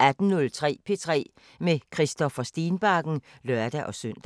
18:03: P3 med Christoffer Stenbakken (lør-søn)